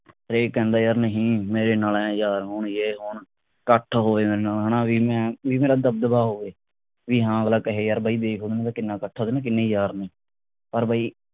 ਇਕ ਆਂਦਾ ਯਾਰ ਨਹੀਂ ਮੇਰੇ ਨਾਲ ਐ ਯਾਰ ਓ ਯੇ ਕੌਣ ਇਕੱਠ ਹੋਏ ਰਹਿਣਾ ਵਾ ਹਣਾ ਬਈ ਮੈਂ ਬਈ ਮੇਰਾ ਦਬਦਬਾ ਹੋਵੇ ਬਈ ਹਾਂ ਅਗਲਾ ਕਹੇ ਯਾਰ ਬਈ ਦੇਖ ਉਹਦਾ ਕਿੰਨਾ ਇਕੱਠ ਆ ਉਹਦੇ ਨਾਲ ਕਿੰਨੇ ਯਾਰ ਨੇ ਪਰ ਬਈ